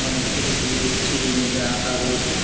অনেক ছবি টবিও সিঁড়ির মধ্যে আঁকা রয়েছে।